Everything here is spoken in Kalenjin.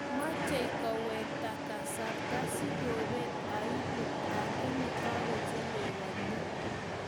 mochei kowekta kasarta si koobet aiubu lakini ka kochelewanyo